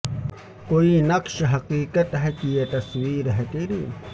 کوئی نقش حقیقت ہے کہ یہ تصویر ہے تیری